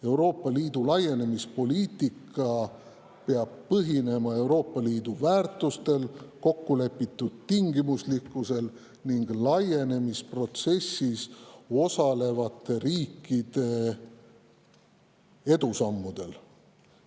Euroopa Liidu laienemispoliitika peab põhinema Euroopa Liidu väärtustel, kokkulepitud tingimuslikkusel ning laienemisprotsessis osalevate riikide edusammudel.